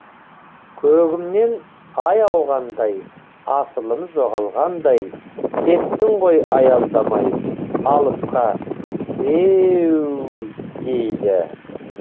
көгімнен ай ауғандай асылым жоғалғандай кеттің ғой аялдамай алысқа ееееуууууу дейді